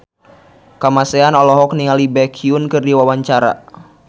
Kamasean olohok ningali Baekhyun keur diwawancara